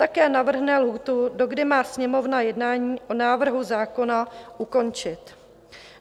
Také navrhne lhůtu, dokdy má Sněmovna jednání o návrhu zákona ukončit.